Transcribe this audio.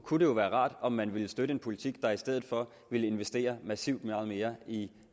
kunne jo være rart om man ville støtte en politik der i stedet for ville investere massivt meget mere i